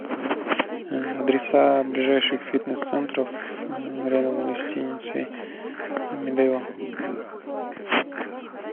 адреса ближайших фитнес центров рядом с гостиницей медео